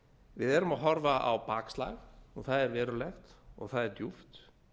við erum að horfa á bakslag og það er verulegt og það er djúpt